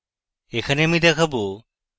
এখানে আমি দেখাবো: